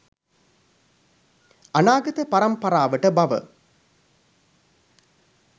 අනාගත පරම්පරාවට බව.